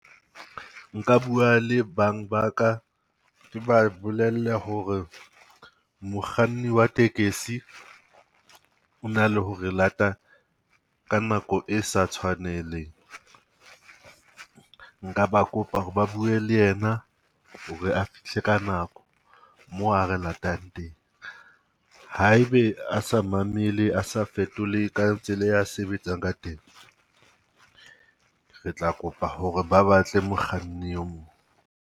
Nka bua le bang ba ka, ke ba bolelle ho re mokganni wa tekesi ona le ho re lata ka nako e sa tshwanelang. Nka ba kopa ho re ba bue le yena ho re a fihle ka nako moo a re latang teng. Ha e be a sa mamele a sa fetole ka tsela e a sebetsang ka teng, re tla kopa ho re ba batle mokganni e mong.